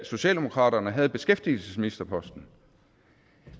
socialdemokratiet havde beskæftigelsesministerposten